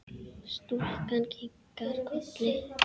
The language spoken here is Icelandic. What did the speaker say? Stúlkan kinkar kolli.